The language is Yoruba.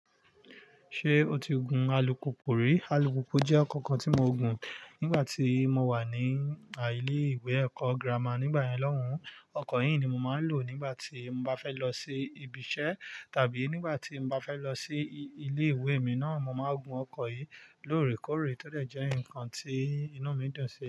Ṣé o ti gun alùpùpù rí? Alùpùpù jẹ́ ọkọ̀ kan tí mo gun nigbati mo wà ní ìlé ìwé ẹ̀kọ́ gírámà nígbà yẹn lọ́hùn. Ọkọ̀ yii ní mo máa ń lò nígbà tí mo bá fẹ́ lọ sí ibi iṣẹ́ tàbí nígbà tí mo bá fẹ́ lọ sí ilé ìwé mi náà. Mo máa ń gun ọkọ̀ yìí lóòrèkóòrè tó se jẹ́ nkan tí inú mi dùn sí.